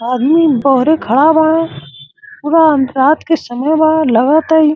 आदमी बहरे खड़ा बारे पूरा रात के समय बा लगता इ।